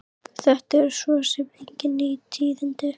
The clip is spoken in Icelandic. Þetta eru svo sem engin ný tíðindi.